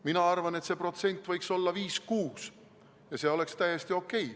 Mina arvan, et see protsent võiks olla 5 või 6 ja see oleks täiesti okei.